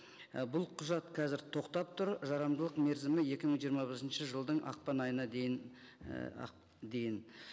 і бұл құжат қазір тоқтап тұр жарамдылық мерзімі екі мың жиырма бесінші жылдың ақпан айына дейін і дейін